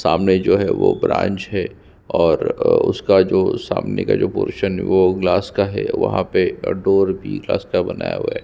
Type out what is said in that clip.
सामने जो है वो ब्रांच है और उसका जो सामने का जो पोरसन है वो ग्लास का है वहाँ पे डोर भी ग्लास का बनाया हुआ है।